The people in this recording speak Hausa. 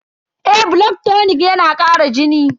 Eh, blood tonic yana kara jini.